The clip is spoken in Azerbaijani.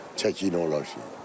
Çəkənlər onu alırlar.